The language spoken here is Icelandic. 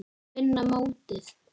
Að vinna mótið?